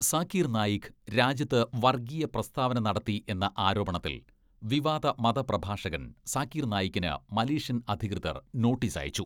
സാക്കീർ നായിക് രാജ്യത്ത് വർഗ്ഗീയ പ്രസ്താവന നടത്തി എന്ന ആരോപണത്തിൽ വിവാദ മത പ്രഭാഷകൻ സാക്കീർ നായിക്കിന് മലേഷ്യൻ അധികൃതർ നോട്ടീസയച്ചു.